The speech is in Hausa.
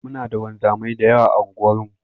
Muna da wanzamai da yawa a unguwarmu.